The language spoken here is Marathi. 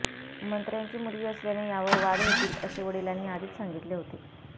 मंत्र्याची मुलगी असल्याने यावर वाद होतील असे वडिलांनी आधीच सांगितले होते